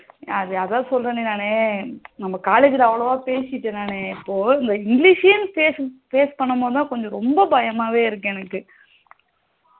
அஹ் அதான் சொல்லுறனு நானு நம்ம college அவளவா பேசிட்டேன் நானு இப்போ இந்த english யே face பண்ணும் போது கொஞ்சம் ரொம்ப பயமாவே இருக்கு எனக்கு